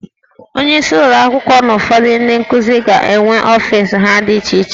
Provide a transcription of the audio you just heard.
Onyeisi ụlọ akwụkwọ na ụfọdụ ndị nkuzi ga-enwe ọfis ha dị iche iche